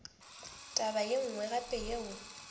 taba ye nngwe gape yeo